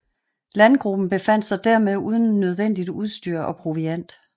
Landgruppen befandt sig dermed uden nødvendigt udstyr og proviant